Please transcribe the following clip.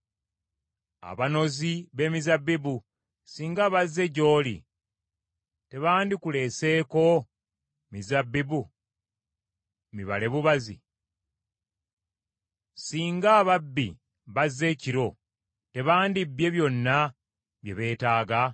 Abanozi b’emizabbibu singa bazze gy’oli, tebandikuleseeko mizabbibu mibale bubazi? Singa ababbi bazze ekiro, tebandibbye byonna bye beetaaga?